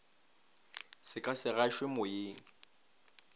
se ka se gašwe moyeng